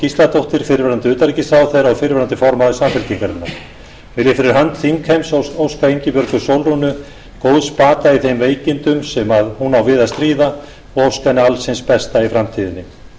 gísladóttir fyrrverandi utanríkisráðherra og fyrrverandi formaður samfylkingarinnar vil ég fyrir hönd þingheims óska ingibjörgu sólrúnu góðs bata í þeim veikindum sem hún á við að stríða og óska henni alls hins besta í framtíðinni